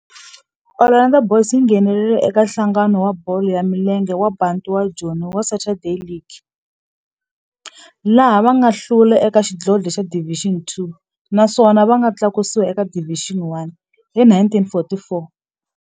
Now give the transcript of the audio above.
Orlando Boys yi nghenelerile eka Nhlangano wa Bolo ya Milenge wa Bantu wa Joni wa Saturday League, laha va nga hlula eka xidlodlo xa Division Two naswona va nga tlakusiwa eka Division One hi 1944.